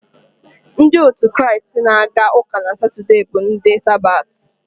Ndị otu Kraịst na-aga uka na Satọde bụ ndị Sabati.